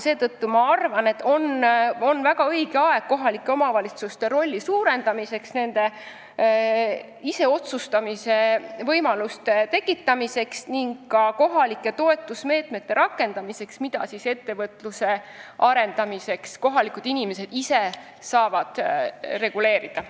Seetõttu ma arvan, et on väga õige aeg kohalike omavalitsuste rolli suurendamiseks, nendele iseotsustamise võimaluste andmiseks ning ka kohalike toetusmeetmete rakendamiseks, mida kohalikud inimesed ise saaksid ettevõtluse arendamiseks reguleerida.